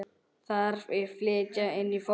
Þarf að flytja inn fóður?